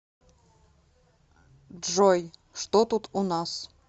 джой что тут у нас